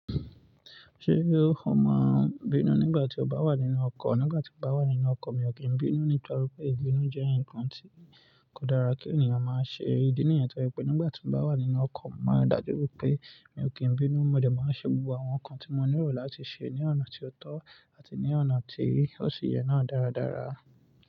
Ṣé o mọ n bínú nígbà tí ó bá wà nínú ọkọ̀? Nígbà tí mo bá wà nínú ọkọ̀, mi ò kí ń bínú, nítorí pé ibínú jẹ́ nǹkan tí kò dára kí ènìyàn máa ṣe. Ídí nìyẹn to je wipé nígbà tí mo bá wà nínú ọkọ̀, mo máa ń ri dájú wipé mi ò kí ń bínú. Mo dẹ̀ máa n ṣẹ́ gbogbo àwọn nǹkan tí mo nílò láti ṣe ní ọ̀nà tí ó tọ́ àti ní ọ̀nà tí ó sì yẹ náà dáradára.